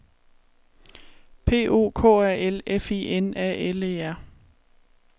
P O K A L F I N A L E R